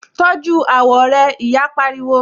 Tọ́jú àwọ̀ rẹ! Ìyá rẹ pariwo.